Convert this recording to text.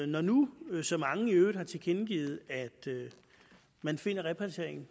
når nu så mange i øvrigt har tilkendegivet at man finder at repatrieringen